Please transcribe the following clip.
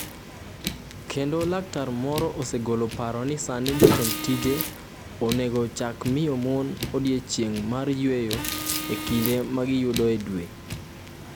Kendo laktar moro osegolo paro ni sani jotend tije onego ochaki miyo mon “odiechieng’ mar yweyo e kinde ma giyudoe dwe.”